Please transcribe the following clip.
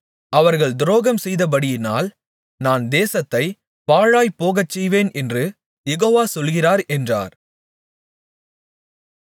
அவர்கள் துரோகம்செய்தபடியினால் நான் தேசத்தைப் பாழாய்ப் போகச்செய்வேன் என்று யெகோவா சொல்லுகிறார் என்றார்